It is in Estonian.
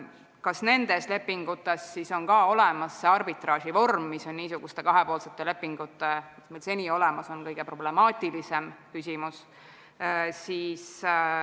Kas nendes lepingutes on olemas ka see arbitraaživorm, mis on niisuguste kahepoolsete lepingute, mis seni olemas on, kõige problemaatilisem küsimus?